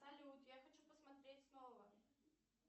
салют я хочу посмотреть снова